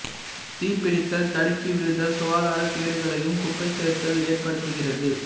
தீப்பிடித்தல் தடுக்கி விழுதல் சுகாதாரக் கேடுகளையும் குப்பை சேர்த்தல் ஏற்படுத்துகிறது